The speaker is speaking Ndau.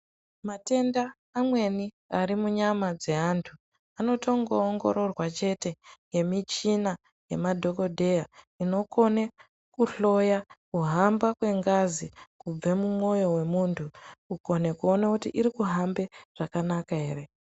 Matenda amweni ari munyama dzeantu anotongoongororwa chete ngemichina nemadhokodheya inokone kuhloya kuhamba kwengazi kubve mumwoyo wemuntu kukone kuone kuti irikuhambe zvakanaka ere.